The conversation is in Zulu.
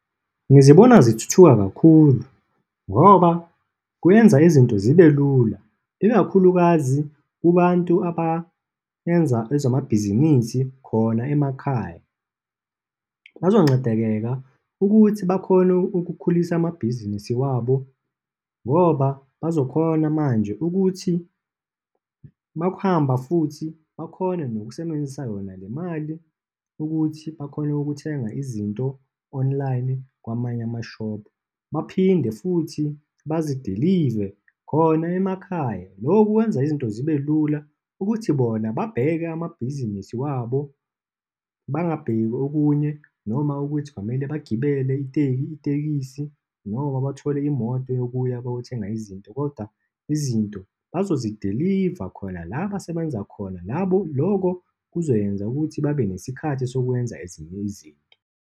Ngizibona zithuthuka kakhulu ngoba kuyenza izinto zibe lula, ikakhulukazi kubantu abayenza ezamabhizinisi khona emakhaya. Bazoncedekeka ukuthi bakhone ukukhulisa amabhizinisi wabo, ngoba bazokhona manje ukuthi uma kuhamba futhi bakhone nokusebenzisa yona le mali ukuthi bakhone ukuthenga izinto online, kwamanye ama-shop. Baphinde futhi bazidilive khona emakhaya. Lokhu kwenza izinto zibe lula ukuthi bona babheke amabhizinisi wabo, bangabheki okunye, noma ukuthi kwamele bagibele iteki, itekisi noma bathole imoto yokuya bayothenga izinto koda izinto bazosidiliva khona la abasebenza khona labo, lokho kuzoyenza ukuthi babe nesikhathi sokwenza ezinye izinto.